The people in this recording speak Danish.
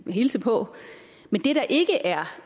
hilse på men det der ikke er